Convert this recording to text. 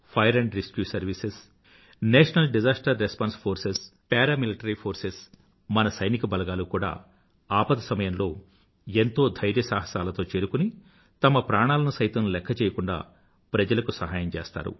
fire and rescue services national disaster response forces paramilitary forces మన సైనిక బలగాలు కూడా ఆపద సమయంలో ఎంతో ధైర్యసాహసాలతో చేరుకుని తమ ప్రాణాలను సైతం లెఖ్ఖ చేయకూండా ప్రజలకు సహాయం చేస్తారు